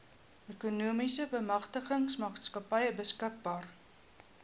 ekonomiese bemagtigingsmaatskappy beskikbaar